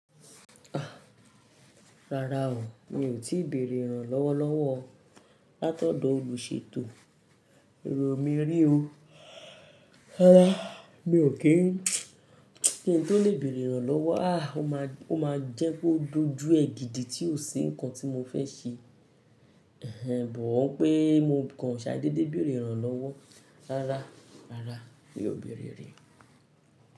Rárá o, mi ò tíì bèrè ìrànlọ́wọ́ lọ́wọ́ látọ̀dọ̀ olùṣètò èrò mi rí o. Rárá, mi ò kí n kí ń tó lè bèrè ìrànlọ́wọ́. Ó máa--o maa jẹ́ pe o dojú ẹ́ gídìí tí ò ṣi nǹkan tí mo fẹ́ ṣe. Ẹ̀hẹn, but wipé mo kan ṣàdédé bèerè ìrànlọ́wọ́. Rárá, rárá mi ò béèrè rí.